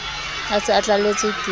a se a tlalletswe ke